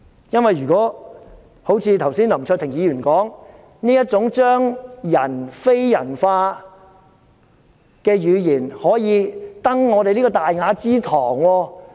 正如林卓廷議員剛才所說，這種將人非人化的語言，能否登上這個大雅之堂？